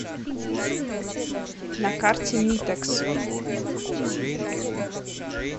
на карте митекс